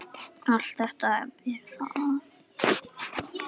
Allt þetta ber að þakka.